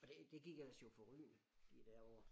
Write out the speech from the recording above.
Og det gik ellers jo forrygende de der år